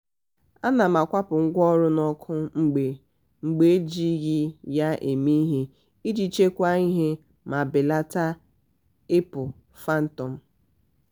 ana m akwụpụ ngwaọrụ n'ọkụ mgbe mgbe ejighị ya eme ihe iji chekwaa ihe ma belata ibu phantom